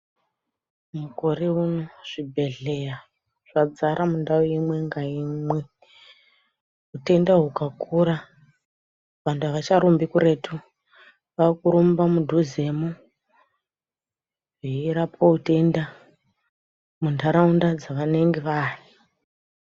Mukore uno zvibhehleya zvadzara mundau imwe nga imwe. Utenda hwukakura vantu avacharumbi kuretu vaakurumba mudhuzemo veirapwe utenda mundaraunda dzavanenge vaari.